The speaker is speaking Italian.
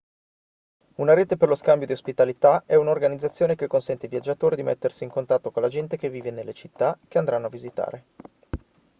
una rete per lo scambio di ospitalità è un'organizzazione che consente ai viaggiatori di mettersi in contatto con la gente che vive nelle città che andranno a visitare